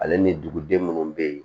Ale ni duguden minnu bɛ yen